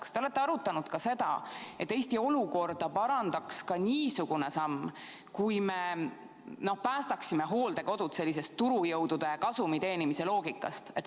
Kas te olete arutanud ka seda, et Eesti olukorda parandaks ka niisugune samm, kui me päästaksime hooldekodud sellisest turujõudude kasumi teenimise loogikast?